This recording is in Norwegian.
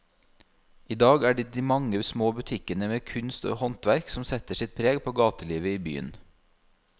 I dag er det de mange små butikkene med kunst og håndverk som setter sitt preg på gatelivet i byen.